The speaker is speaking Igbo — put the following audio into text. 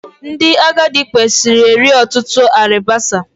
Ndị agadị kwesịrị eri ọtụtụ alibasa